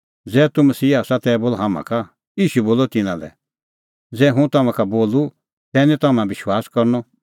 ज़ै तूह मसीहा आसा तै बोल हाम्हां का ईशू बोलअ तिन्नां लै ज़ै हुंह तम्हां का बोलूं तै निं तम्हां विश्वास करनअ